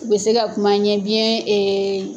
U bɛ se ka kuma an ɲɛ biyɛn.